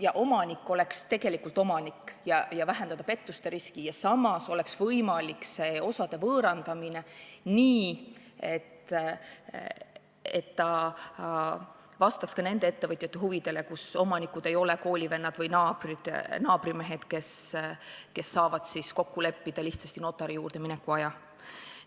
ja omanik oleks tegelikult omanik, kuidas vähendada pettuste riski ja samas oleks võimalik osade võõrandamine nii, et see vastaks ettevõtjate huvidele ka siis, kui omanikud ei ole koolivennad või naabrimehed, kes saavad lihtsasti notari juurde mineku aja kokku leppida.